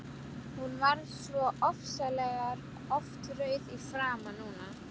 Hún varð svo ofsalega oft rauð í framan núna.